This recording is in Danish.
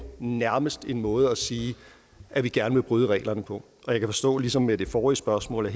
nærmest en måde at sige at vi gerne vil bryde reglerne på og jeg kan forstå ligesom med det forrige spørgsmål at